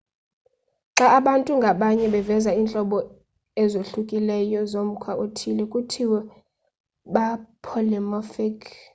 xa abantu ngabanye beveza iintlobo ezohlukileyo zomkhwa othile kuthiwa ba-polymorphic